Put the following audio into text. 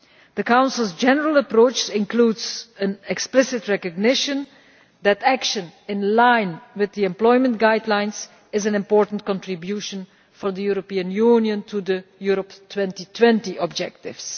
The Council's general approach includes an explicit recognition that action in line with the employment guidelines is an important contribution for the European Union to the Europe 2020 objectives.